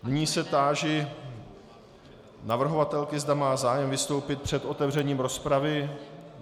Nyní se táži navrhovatelky, zda má zájem vystoupit před otevřením rozpravy.